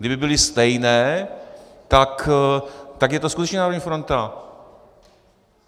Kdyby byly stejné, tak je to skutečně národní fronta.